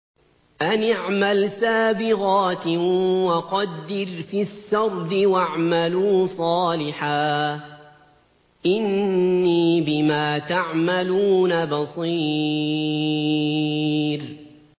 أَنِ اعْمَلْ سَابِغَاتٍ وَقَدِّرْ فِي السَّرْدِ ۖ وَاعْمَلُوا صَالِحًا ۖ إِنِّي بِمَا تَعْمَلُونَ بَصِيرٌ